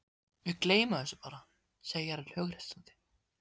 Við gleymum þessu bara, segir hann hughreystandi.